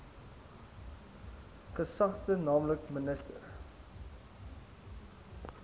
gesagte nl minister